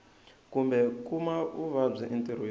kumbe ku kuma vuvabyi entirhweni